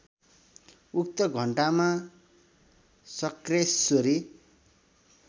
उक्त घण्टामा शक्रेश्वरी